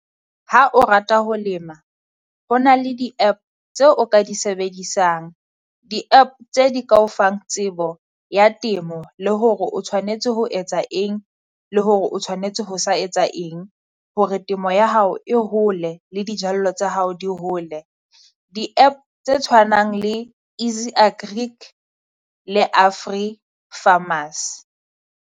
Ha o rata ho lema ho na le di-App tseo o ka di sebedisang, di-App tse di ka o fang tsebo ya temo, le hore o tshwanetse ho etsa eng le hore o tshwanetse ho sa etsa eng. Hore temo ya hao e hole le dijallo tsa hao di hole, di-App tse tshwanang le EzyAgric le Afri Farmers.